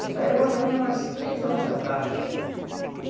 Isso aí era mais ou menos umas três horas da tarde.